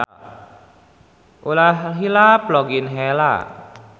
Ulah hilap log in heula.